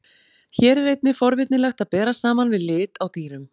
Hér er einnig forvitnilegt að bera saman við lit á dýrum.